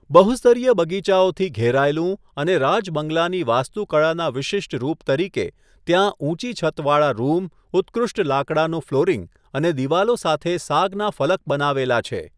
બહુ સ્તરીય બગીચાઓથી ઘેરાયેલું અને રાજ બંગલાની વાસ્તુકળાના વિશિષ્ટ રૂપ તરીકે, ત્યાં ઊંચી છતવાળા રૂમ, ઉત્કૃષ્ટ લાકડાનું ફ્લોરિંગ અને દિવાલો સાથે સાગના ફલક બનાવેલા છે.